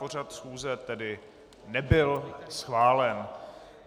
Pořad schůze tedy nebyl schválen.